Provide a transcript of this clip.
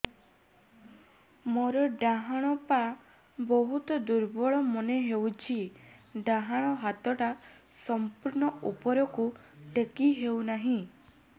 ମୋର ଡାହାଣ ପାଖ ବହୁତ ଦୁର୍ବଳ ମନେ ହେଉଛି ଡାହାଣ ହାତଟା ସମ୍ପୂର୍ଣ ଉପରକୁ ଟେକି ହେଉନାହିଁ